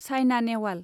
Saina Nehwal